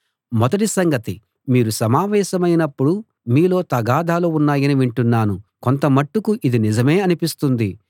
మొదటి సంగతి మీరు సమావేశమైనప్పుడు మీలో తగాదాలు ఉన్నాయని వింటున్నాను కొంతమట్టుకు ఇది నిజమే అనిపిస్తుంది